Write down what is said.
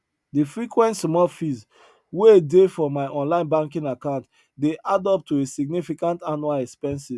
de frequent small fees wey dey for my online banking account dey add up to a significant annual expenses